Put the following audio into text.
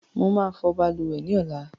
Mo ma fò balùwè ni ọ̀la